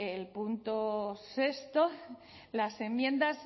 el punto sexto las enmiendas